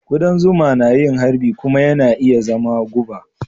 Kudan zuma na yin harbi kuma yana iya zama guba.